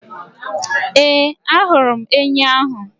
Ee, ahụrụ m enyi ahụ